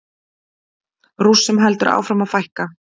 Rússum heldur áfram að fækka